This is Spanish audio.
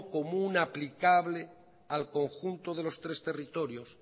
común aplicable al conjunto de los tres territorios